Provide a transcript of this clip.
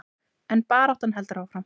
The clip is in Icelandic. En baráttan heldur áfram.